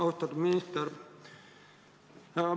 Austatud minister!